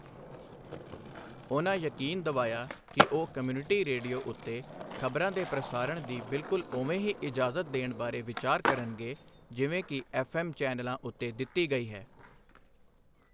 ਉਨ੍ਹਾਂ ਯਕੀਨ ਦਿਵਾਇਆ ਕਿ ਉਹ ਕਮਿਊਨਿਟੀ ਰੇਡੀਓ ਉੱਤੇ ਖ਼ਬਰਾਂ ਦੇ ਪ੍ਰਸਾਰਣ ਦੀ ਬਿਲਕੁਲ ਉਵੇਂ ਹੀ ਇਜਾਜ਼ਤ ਦੇਣ ਬਾਰੇ ਵਿਚਾਰ ਕਰਨਗੇ, ਜਿਵੇਂ ਕਿ ਐੱਫ਼ਐੱਮ ਚੈਨਲਾਂ ਉੱਤੇ ਦਿੱਤੀ ਗਈ ਹੈ।